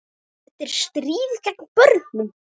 Þetta er stríð gegn börnum